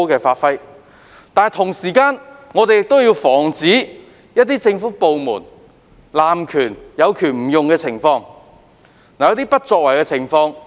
不過，與此同時，我們也要防止有政府部門濫權或有權不用的情況。